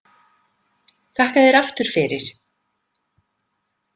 Þakka þér aftur fyrir.